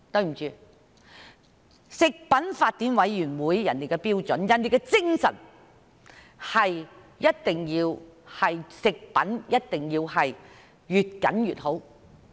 抱歉，食品法典委員會訂定標準的精神，就是對食品的要求是越嚴謹越好。